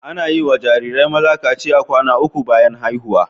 Ana yi wa jarirai maza kaciya kwana uku bayan haihuwa.